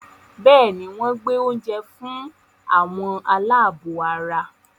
Bẹ́ẹ̀ni, wọ́n gbé àwọn oúnjẹ fún "àwọn aláàbọ̀ ara”